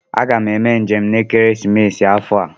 Aga m eme njem n'ekeresimesi afọ a